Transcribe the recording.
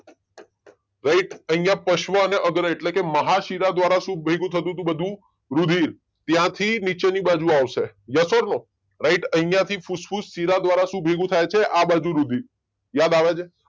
Right અહિયાં પશ્વ અને અગ્ર એટલે કે મહાશીલા દ્વારા શું ભેગું થતું તું બધું? રુધિર ત્યાંથી નીચેની બાજુ આવશે યસ ઔર નો? રાઈટ અહિયાં થી ફૂસ્ફ્સશીલા દ્વારા શું ભેગું થાય છે આ બાજુ રુધિર યાદ આવે છે?